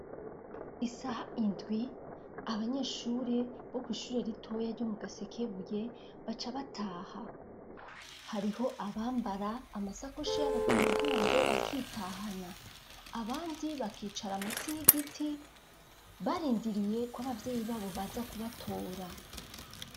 Isaha indwi abanyeshure bo kw'ishure ritoya ryo mu gasekebuye baca bataha hariho abambara amasakoshi yabo ku migongo bakitahana abandi bakicara munsi y'igiti barindiriyeko abavyeyi babo baza kubatora.